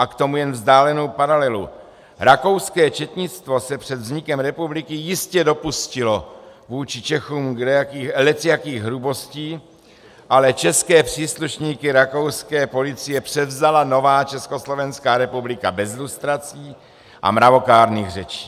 A k tomu jen vzdálenou paralelu - rakouské četnictvo se před vznikem republiky jistě dopustilo vůči Čechům lecjakých hrubostí, ale české příslušníky rakouské policie převzala nová Československá republika bez lustrací a mravokárných řečí.